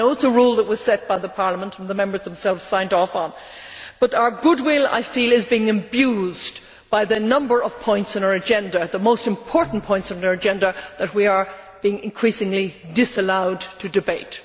I know it is a rule that was set by Parliament and the Members themselves signed off on, but our good will, I feel, is being abused by the number of points on our agenda the most important points on our agenda that we are being increasingly disallowed to debate.